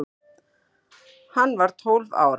Hann var tólf ára.